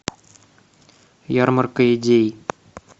ярмарка идей